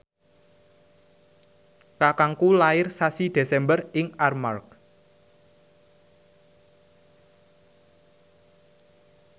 kakangku lair sasi Desember ing Armargh